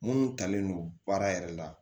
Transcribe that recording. Minnu talen don baara yɛrɛ la